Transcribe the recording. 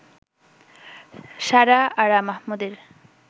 সারা আরা মাহমুদের